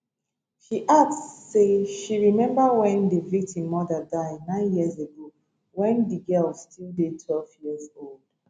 she add say she remember wen di victim mother die nine years ago wen di girl still dey twelve years old